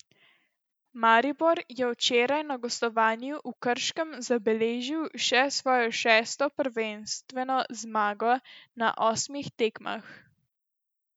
Maribor je včeraj na gostovanju v Krškem zabeležil še svojo šesto prvenstveno zmago na osmih tekmah.